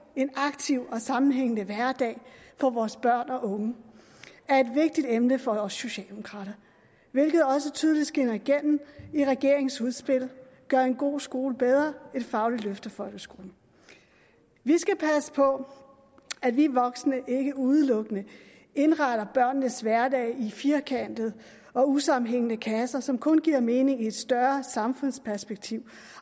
en aktiv og sammenhængende hverdag for vores børn og unge er et vigtigt emne for os socialdemokrater hvilket også tydeligt skinner igennem i regeringens udspil gør en god skole bedre et fagligt løft af folkeskolen vi skal passe på at vi voksne ikke udelukkende indretter børnenes hverdag i firkantede og usammenhængende kasser som kun giver mening i et større samfundsperspektiv